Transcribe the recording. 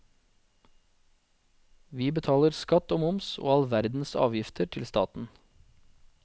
Vi betaler skatt og moms og all verdens avgifter til staten.